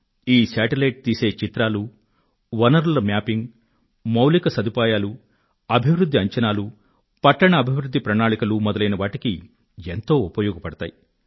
ఈ శాటిలైట్ తీసే చిత్రాలు వనరుల మ్యాపింగ్ మౌలిక సదుపాయాలు అభివృధ్ధి అంచనాలు పట్టణ అభివృధ్ధి ప్రణాళికలూ మొదలైనవాటికి ఎంతో ఉపయోగపడతాయి